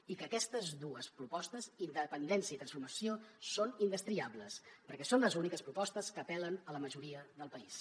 i que aquestes dues propostes independència i transformació són indestriables perquè són les úniques propostes que apel·len a la majoria del país